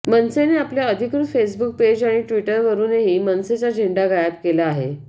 मनसेने आपल्या अधिकृत Facebook page आणि ट्विटरवरुनही मनसेचा झेंडा गायब केला आहे